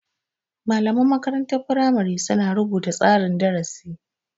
Malaman makarantar firamari su na rubuta tsarin darasi